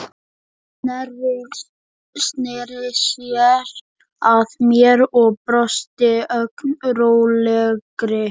Sneri sér að mér og brosti, ögn rólegri.